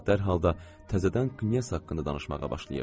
Amma dərhal da təzədən Qnyes haqqında danışmağa başlayırdı.